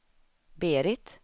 Berit